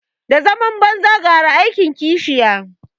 Da zaman banza gara aikin kishiya